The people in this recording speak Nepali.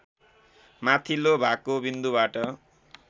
माथिल्लो भागको बिन्दुबाट